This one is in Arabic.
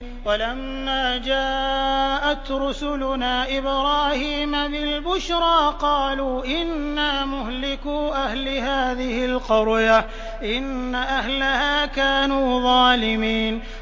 وَلَمَّا جَاءَتْ رُسُلُنَا إِبْرَاهِيمَ بِالْبُشْرَىٰ قَالُوا إِنَّا مُهْلِكُو أَهْلِ هَٰذِهِ الْقَرْيَةِ ۖ إِنَّ أَهْلَهَا كَانُوا ظَالِمِينَ